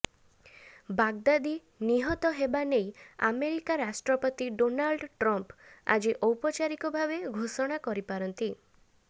Baghdadi ନିହତ ହେବା ନେଇ ଆମେରିକା ରାଷ୍ଟ୍ରପତି ଡୋନାଲ୍ଡ ଟ୍ରମ୍ପ ଆଜି ଔପଚାରିକ ଭାବେ ଘୋଷଣା କରିପାରନ୍ତି